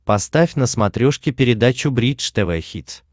поставь на смотрешке передачу бридж тв хитс